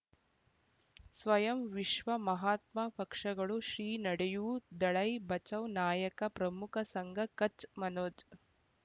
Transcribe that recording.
ಸ್ವಯಂ ವಿಶ್ವ ಮಹಾತ್ಮ ಪಕ್ಷಗಳು ಶ್ರೀ ನಡೆಯೂ ದಳ್ಳೈ ಬಚೌ ನಾಯಕ ಪ್ರಮುಖ ಸಂಘ ಕಚ್ ಮನೋಜ್